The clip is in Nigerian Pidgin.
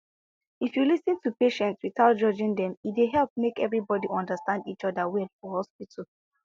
if you lis ten to patients without judging dem e dey help make everybody understand each other well for hospital